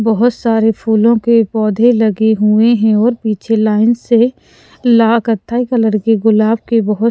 बहुत सारे फूलों के पौधे लगे हुए हैं और पीछे लाइन से ला कथाई कलर के गुलाब के बहुत--